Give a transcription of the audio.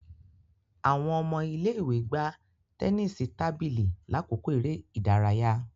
Awọn ọmọ ile-iwe gbà tẹnisi tábìlì lakoko eré ìdárayá